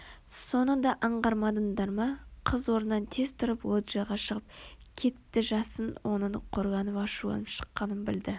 соны да аңғармадыңдар ма Қыз орнынан тез тұрып лоджияға шығып кетті жасын оның қорланып ашуланып шыққанын білді